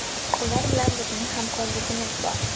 Ular bilan bizning hamkorligimiz bor.